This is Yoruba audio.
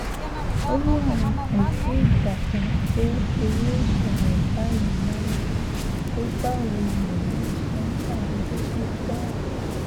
ó lóun ò tí ì gbàgbọ́ pé irú ìṣẹ̀lẹ̀ báyìí wáyé pé báwo lèèyàn ṣe ń ṣàdédé kú bẹ́ẹ̀